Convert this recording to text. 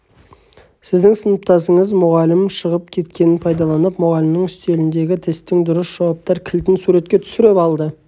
сіздің сыныптасыңыз мұғалім шығып кеткенін пайдаланып мұғалімнің үстеліндегі тесттің дұрыс жауаптар кілтін суретке түсіріп алады